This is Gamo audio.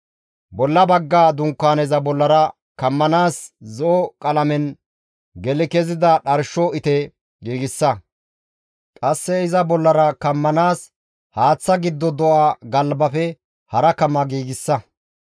«Bolla bagga dunkaaneza bollara kammanaas zo7o qalamen geli kezida dharsho ite giigsa; qasse iza bollara kammanaas haaththa giddo do7a galbafe hara kama giigsa.